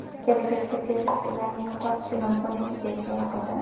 Kelajakda servis ularni yo‘qotishi mumkinligiga ishora qildi.